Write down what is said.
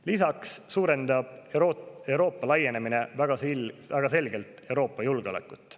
Lisaks suurendab Euroopa laienemine väga selgelt Euroopa julgeolekut.